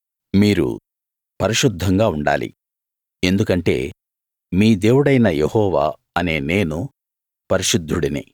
మీరు పరిశుద్ధంగా ఉండాలి ఎందుకంటే మీ దేవుడైన యెహోవా అనే నేను పరిశుద్ధుడిని